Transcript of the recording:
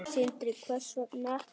Sindri: Hvers vegna ekki?